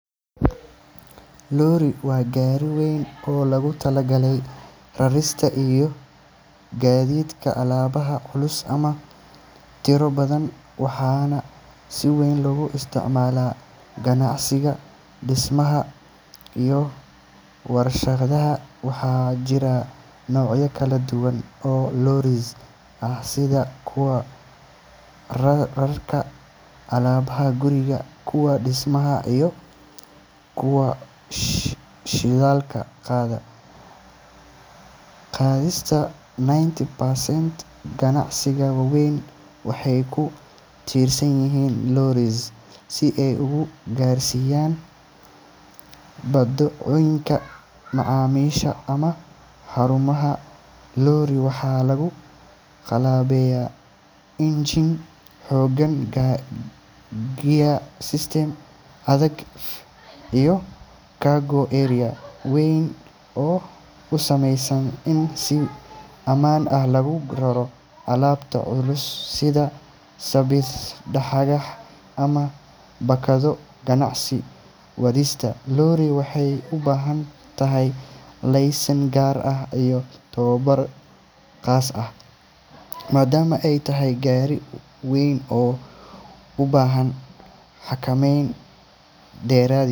Lorry waa gaari weyn oo loogu talagalay rarista iyo gaadiidka alaabaha culus ama tiro badan, waxaana si weyn loogu isticmaalaa ganacsiga, dhismaha, iyo warshadaha. Waxaa jira noocyo kala duwan oo lorries ah sida kuwa rarta alaabada guriga, kuwa dhismaha, iyo kuwa shidaalka qaada. Qiyaastii ninety percent ganacsiyada waaweyn waxay ku tiirsan yihiin lorries si ay u gaarsiiyaan badeecooyinka macaamiisha ama xarumahooda. Lorry waxaa lagu qalabeeyaa engine xooggan, gear system adag, iyo cargo area weyn oo u saamaxaya in si ammaan ah loogu raro alaabo culus sida sibidh, dhagax, ama baakado ganacsi. Wadista lorry waxay u baahan tahay laysan gaar ah iyo tababar khaas ah maadaama ay tahay gaari waaweyn oo u baahan xakameyn dheeraad.